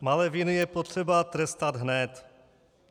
Malé viny je potřeba trestat hned.